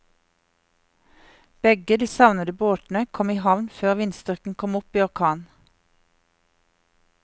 Begge de savnede båtene kom i havn før vindstyrken kom opp i orkan.